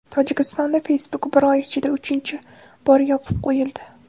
Tojikistonda Facebook bir oy ichida uchinchi bor yopib qo‘yildi.